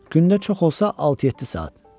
Gündə çox olsa altı-yeddi saat.